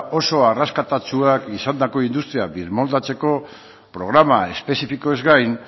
oso arrakastatsua izandako industria birmoldatzeko programa espezifikoez gai